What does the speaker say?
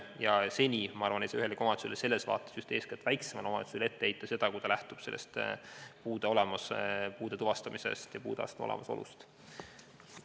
Ja ma arvan, et seni ei saa ühelegi omavalitsusele – just eeskätt väiksemale omavalitsusele – ette heita seda, kui ta lähtub otsustamisel puudeastme olemasolust.